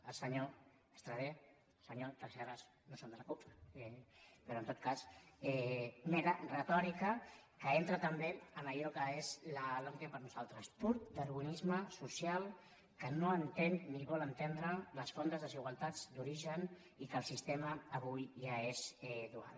el senyor estradé el senyor tresserras no són de la cup però en tot cas mera retòrica que entra també en allò que és la lomqe per nosaltres pur darwinisme social que no entén ni vol entendre les fondes desigualtats d’origen i que el sistema avui ja és dual